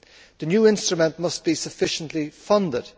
The new instrument must be sufficiently funded.